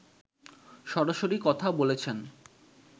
সরাসরি কথা বলেছেন